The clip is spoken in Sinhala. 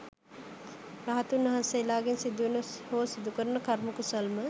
රහතුන් වහන්සේලාගෙන් සිදුවන හෝ සිදුකරන කර්ම කුසල්ම